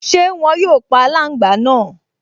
Ṣé wọn yóò pa aláǹgbá náà?